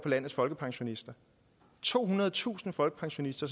landets folkepensionister tohundredetusind folkepensionister